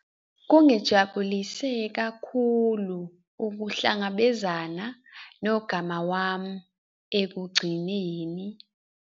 kungijabulise kakhulu ukuhlangabezana nogama wami ekugcineni